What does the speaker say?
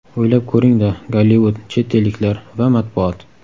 O‘ylab ko‘ring-da: Gollivud, chet elliklar va matbuot.